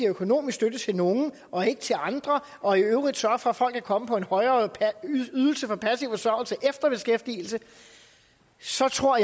økonomisk støtte til nogle og ikke til andre og i øvrigt sørger for at folk kan komme på en højere ydelse på passiv forsørgelse efter beskæftigelse så tror